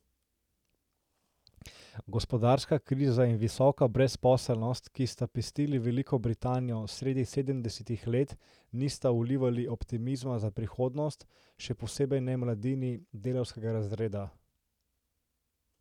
Gospodarska kriza in visoka brezposelnost, ki sta pestili Veliko Britanijo sredi sedemdesetih let, nista vlivali optimizma za prihodnost, še posebej ne mladini delavskega razreda.